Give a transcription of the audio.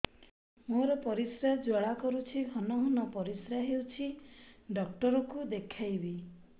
ମୋର ପରିଶ୍ରା ଜ୍ୱାଳା କରୁଛି ଘନ ଘନ ପରିଶ୍ରା ହେଉଛି ଡକ୍ଟର କୁ ଦେଖାଇବି